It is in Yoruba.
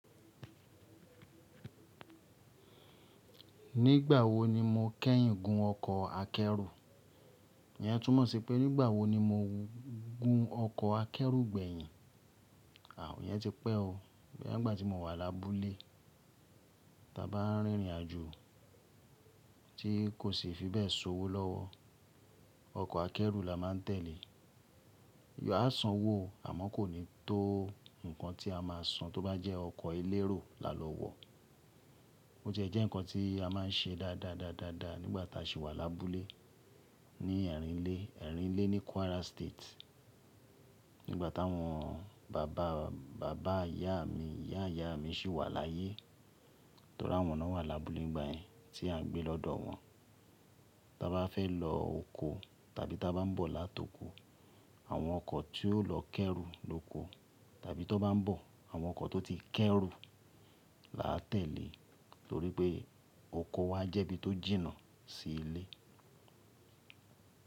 Nígbà wo ni mo kẹ́yìn gun ọkọ̀ akẹ́rù? Ìyẹn túmọ̀ sí pé nígbà wo ni mo gun ọkọ̀ akẹ́rù gbẹ̀yìn? À ìyẹn ti pẹ́ o. Bóyá ni ìgbà tí mo wà lábúlé. Tá bá n rin ìrìnàjò tí kò sì fi bẹ́ẹ̀ sowọ́ lọ́wọ́, ọkọ̀ akẹ́rù la máa n tẹ̀lé. A san owó o àmọ́ kò ní tó nǹkan tí a máa san tó bá jẹ́ ọkọ̀ elérò lalọ wọ. Ó tie jẹ́ ǹkan tí a máa n ṣe dáadáa dáadáa nígbà tá a ṣì wà lábúlé ní ẹ̀rìnlé, ẹ̀rìnlé ní Kwara State. Nígbà táwọn bàbá, bàbá ìyá mi, ìyá ìyá mi sì wà láyé. Torí àwọn ló ń wà lábúlé ní gbàyẹn tí a ń gbé lọ́dọ̀ wọn. Tá bá fẹ́ lọ oko tàbí tá bá n bọ̀ látoko, àwọn ọkọ̀ tí ó lọ kẹ́rù lóko tàbí tó bá n bọ̀, àwọn ọkọ̀ tó ti kẹ́rù la tẹ̀lé torí pé oko wa jẹ́ ibi tó jìnnà sí ilé.